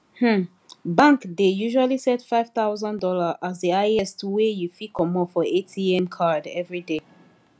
um bank dey usually set five thousand dollar as the highest wey you fit commot for atm card everyday